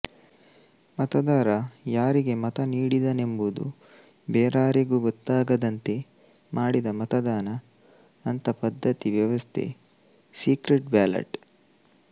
ಮತದಾರ ಯಾರಿಗೆ ಮತ ನೀಡಿದನೆಂಬುದು ಬೇರಾರಿಗೂ ಗೊತ್ತಾಗದಂತೆ ಮಾಡಿದ ಮತದಾನ ಅಂಥ ಪದ್ಧತಿ ವ್ಯವಸ್ಥೆ ಸೀಕ್ರೆಟ್ ಬ್ಯಾಲಟ್